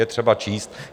Je třeba číst.